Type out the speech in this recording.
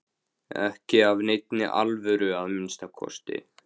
Ekki af neinni alvöru að minnsta kosti.